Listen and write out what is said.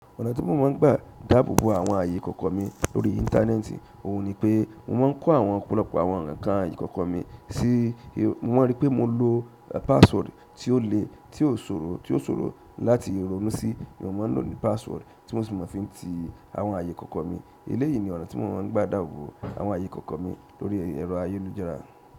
Ọ̀nà ti mo máa ń gba dáàbò bo àwọn ààyè ìkọ̀kọ̀ mi lórí íńtánẹ́ẹ̀tì, òun ni pé mo máa ń kó àwọn ọ̀pọ̀lọpọ̀ àwọn ǹkan ààyè ìkọ̀kọ̀ mi sí, mo ma ń ríi pé mo lò password tí ó le, tí ó sòro, tí ó sòro láti ronú sí, mo ma ń lò ní password tí mo sì mọ̀ fi ń ti àwọn ààyè ìkọ̀kọ̀ mi. Eléyìí ni ọ̀nà tí mo máa ń gba dáàbò bo àwọn ààyè ìkọ̀kọ̀ mi lórí ẹ̀rọ ayélujára.